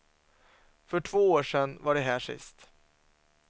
För två år sedan var de här sist.